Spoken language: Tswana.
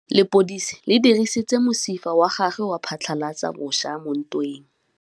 Lepodisa le dirisitse mosifa wa gagwe go phatlalatsa batšha mo ntweng.